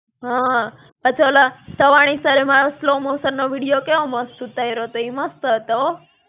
હાં, પાછા ઓલા, સવાણી sir મારો slow-motion નો video કેવો મસ્ત ઉતાયરો તો, ઈ મસ્ત હતો હો.